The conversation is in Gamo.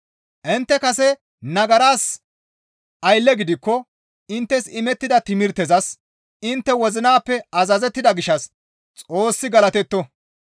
Intte kase nagaras aylleta gidikko inttes imettida timirtezas intte wozinappe azazettida gishshas Xoossi galatetto.